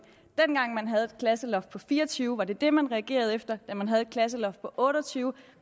dengang man havde et klasseloft på fire og tyve elever var det det man reagerede på da man havde et klasseloft på otte og tyve